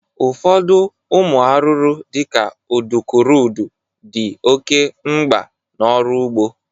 Ụfọdụ ụmụ arụrụ dị ka udukurudu dị oke mgba n'ọrụ ụgbọ